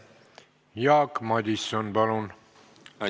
Jaak Madison, palun!